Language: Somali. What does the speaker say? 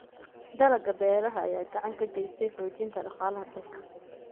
Dalagga beeraha ayaa gacan ka geysta xoojinta dhaqaalaha dalka.